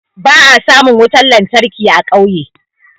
Ba'a samun wutan lantarki a ƙauye.